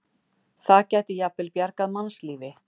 Það gæti jafnvel bjargað mannslífi.